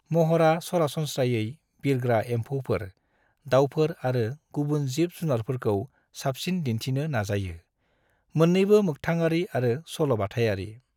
महरा सरासनस्रायै बिरग्रा एमफौफोर, दाउफोर आरो गुबुन जिब जुनारफोरखौ साबसिन दिन्थिनो नाजायो, मोन्नैबो मोक्थांआरि आरो सल'बाथायारि।